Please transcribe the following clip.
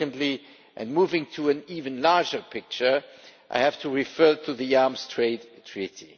Secondly, and moving to an even larger picture, I have to refer to the Arms Trade Treaty.